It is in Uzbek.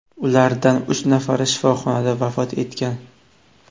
Ulardan uch nafari shifoxonada vafot etgan.